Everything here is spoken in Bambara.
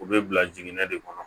U bɛ bila jiginɛ de kɔnɔ